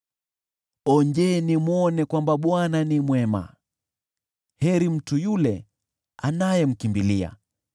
Onjeni mwone kwamba Bwana ni mwema, heri mtu yule anayemkimbilia.